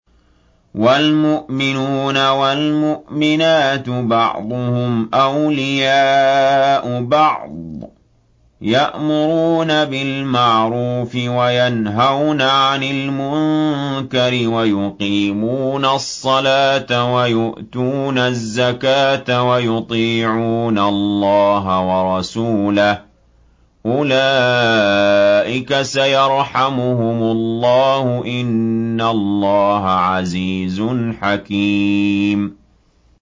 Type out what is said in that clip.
وَالْمُؤْمِنُونَ وَالْمُؤْمِنَاتُ بَعْضُهُمْ أَوْلِيَاءُ بَعْضٍ ۚ يَأْمُرُونَ بِالْمَعْرُوفِ وَيَنْهَوْنَ عَنِ الْمُنكَرِ وَيُقِيمُونَ الصَّلَاةَ وَيُؤْتُونَ الزَّكَاةَ وَيُطِيعُونَ اللَّهَ وَرَسُولَهُ ۚ أُولَٰئِكَ سَيَرْحَمُهُمُ اللَّهُ ۗ إِنَّ اللَّهَ عَزِيزٌ حَكِيمٌ